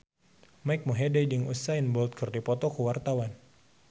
Mike Mohede jeung Usain Bolt keur dipoto ku wartawan